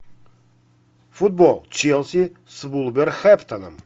футбол челси с вулверхэмптоном